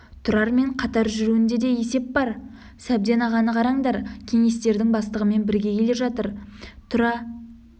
тұрармен қатар жүруінде де есеп бар сәбден ағаны қараңдар кеңестердің бастығымен бірге келе жатыр тұра